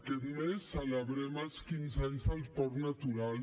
aquest mes celebrem els quinze anys del parc natural